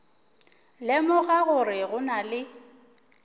lemoga gore go na le